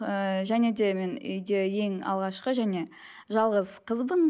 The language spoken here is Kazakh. ыыы және де мен үйде ең алғашқы және жалғыз қызбын